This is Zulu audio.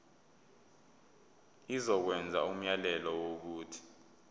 izokwenza umyalelo wokuthi